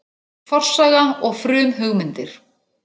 Forsaga og frumhugmyndir.